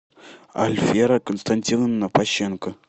альфера константиновна пащенко